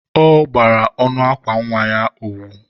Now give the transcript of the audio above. ọ gbara ọnụ akwa nwa ya owu.